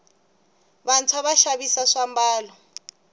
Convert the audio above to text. vantswa va xavisa swambalo